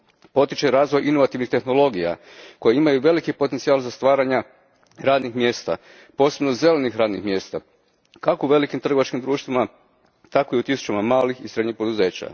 Potiče razvoj inovativnih tehnologija koje imaju veliki potencijal za stvaranje radnih mjesta, posebno zelenih radnih mjesta, kako u velikim trgovačkim društvima, tako i u tisućama malih i srednjih poduzeća.